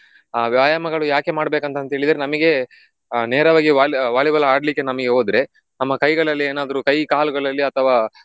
ಆ ವ್ಯಾಯಾಮಗಳು ಯಾಕೆ ಮಾಡ್ಬೇಕಂತಂತ ಹೇಳಿದ್ರೆ ನಮಿಗೆ ಆ ನೇರವಾಗಿ Volley~ Volleyball ಆಡ್ಲಿಕ್ಕೆ ನಮಿಗೆ ಹೋದ್ರೆ ನಮ್ಮ ಕೈಗಳಲ್ಲಿ ಏನಾದ್ರೂ ಕೈ ಕಾಲುಗಳಲ್ಲಿ ಅಥವಾ